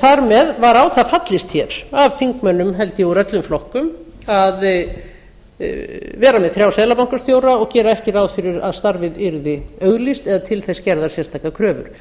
þar með var á það fallist hér af þingmönnum held ég úr öllum flokkum að vera með þrjá seðlabankastjóra og gera ekki ráð fyrir að starfið yrði auglýst eða til þess gerðar sérstakar kröfur